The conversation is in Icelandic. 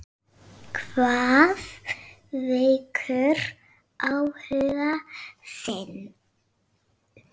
Hvað vekur áhuga þinn?